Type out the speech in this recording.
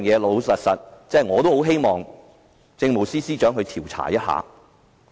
老實說，我也希望政務司司長調查一下。